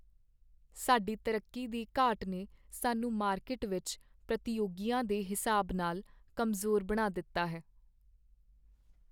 ਸਾਡੀ ਤਰੱਕੀ ਦੀ ਘਾਟ ਨੇ ਸਾਨੂੰ ਮਾਰਕੀਟ ਵਿੱਚ ਪ੍ਰਤੀਯੋਗੀਆਂ ਦੇ ਹਿਸਾਬ ਨਾਲ ਕਮਜ਼ੋਰ ਬਣਾ ਦਿੱਤਾ ਹੈ।